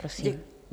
Prosím.